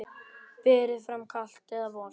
Berið fram kalt eða volgt.